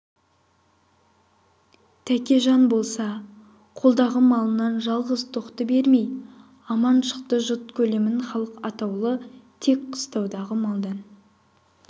тәкежан болса қолдағы малынан жалғыз тоқты бермей аман шықты жұт көлемін халық атаулы тек қыстаудағы малдан